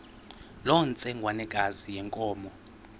loo ntsengwanekazi yenkomo